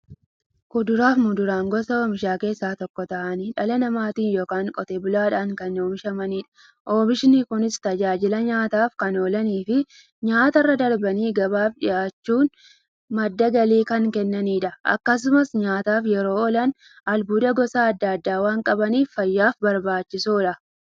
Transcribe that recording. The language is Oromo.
Kuduraafi muduraan gosa oomishaa keessaa tokko ta'anii, dhala namaatin yookiin Qotee bulaadhan kan oomishamaniidha. Oomishni Kunis, tajaajila nyaataf kan oolaniifi nyaatarra darbanii gabaaf dhiyaachuun madda galii kan kennaniidha. Akkasumas nyaataf yeroo oolan, albuuda gosa adda addaa waan qabaniif, fayyaaf barbaachisoodha.